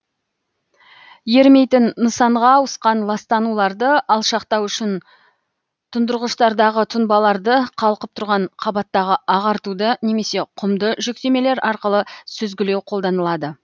ерімейтін нысанға ауысқан ластануларды алшақтау үшін тұндырғыштардағы тұнбаларды қалқып тұрған қабаттағы ағартуды немесе құмды жүктемелер арқылы сүзгілеу қолданылады